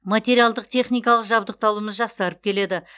материалдық техникалық жабдықталуымыз жақсарып келеді